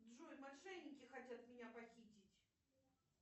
джой мошенники хотят меня похитить